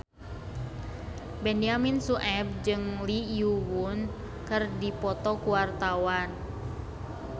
Benyamin Sueb jeung Lee Yo Won keur dipoto ku wartawan